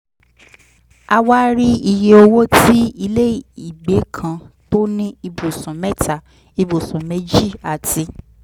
a wá rí iye owó tí ilé ìgbẹ́ kan tó ní ibùsùn mẹ́ta ibùsùn méjì àti